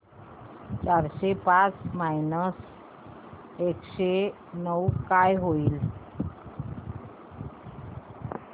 चारशे पाच मायनस एकशे नऊ काय होईल